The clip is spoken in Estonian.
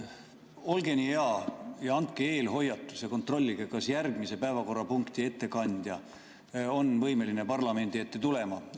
Olge hea ja andke eelhoiatus ja kontrollige, kas järgmise päevakorrapunkti ettekandja on võimeline parlamendi ette tulema.